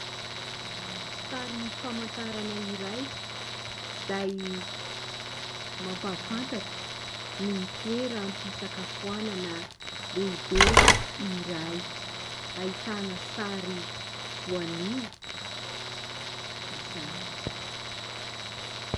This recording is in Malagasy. Sary famantarana iray izay mampafantatra ny toeram-pisakafoanana lehibe iray; ahitana sary voanio izany.